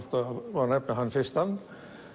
má nefna hann fyrstan